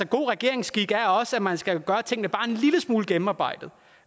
god regeringsskik er også at man skal gøre tingene bare en lille smule gennemarbejdet